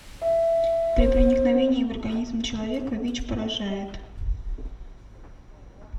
при проникновении в организм человека вич поражает